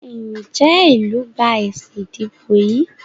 Njé ilú gbà èsì ìdìbò yí?